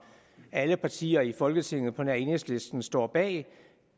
alle partier i folketinget på nær enhedslisten stod bag